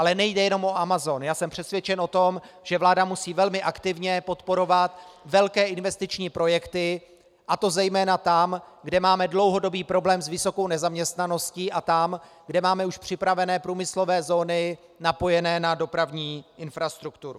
Ale nejde jenom o Amazon, já jsem přesvědčen o tom, že vláda musí velmi aktivně podporovat velké investiční projekty, a to zejména tam, kde máme dlouhodobý problém s vysokou nezaměstnaností, a tam, kde máme už připravené průmyslové zóny napojené na dopravní infrastrukturu.